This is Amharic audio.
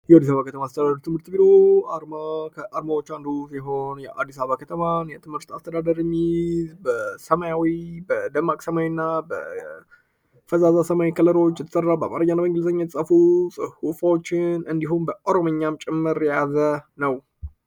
ትምህርት ቢሮ አርማ ከአርማዎች አንዱ ሲሆን፤ የአዲስ አበባ ከተማ የትምህርት አስተዳደር የሚዝ በሰማዊ በደማቅ ሰማያዊና በፈዛዛ ሰማያዊ ውጭ ጥራው በአማርኛ የተፃፉ ፅሁፎችን እንዲሁም በኦሮምኛም ጭምር የያዘ ነው።